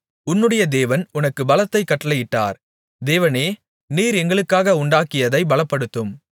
உன்னுடைய தேவன் உனக்குப் பலத்தைக் கட்டளையிட்டார் தேவனே நீர் எங்களுக்காக உண்டாக்கியதை பலப்படுத்தும்